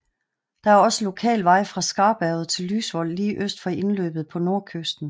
Der er også lokal vej fra Skarberget til Lysvoll lige øst for indløbet på nordkysten